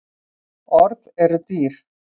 Orð eru dýr